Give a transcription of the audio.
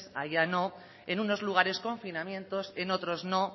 allá no en unos lugares confinamientos en otros no